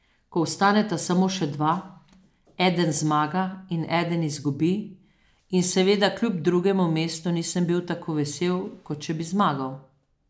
Ko ostaneta samo še dva, eden zmaga in eden izgubi in seveda kljub drugemu mestu nisem bil tako vesel, kot če bi zmagal.